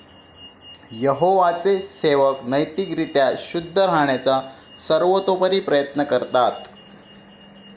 यहोवाचे सेवक नैतिक रीत्या शुद्ध राहण्याचा सर्वतोपरी प्रयत्न करतात.